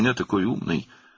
"Sən məndə elə ağıllısan."